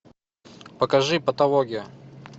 покажи патология